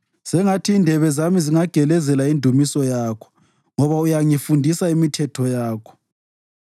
Sengathi indebe zami zingageleza indumiso yakho, ngoba uyangifundisa imithetho yakho.